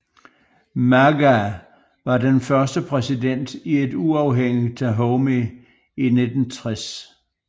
Maga var den første præsident i et uafhængigt Dahomey i 1960